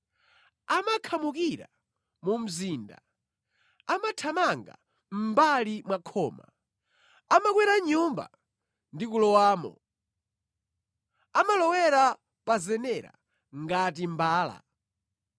Amakhamukira mu mzinda, amathamanga mʼmbali mwa khoma. Amakwera nyumba ndi kulowamo; amalowera pa zenera ngati mbala.